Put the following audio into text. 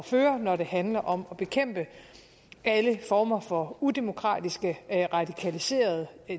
føre når det handler om at bekæmpe alle former for udemokratiske radikaliserede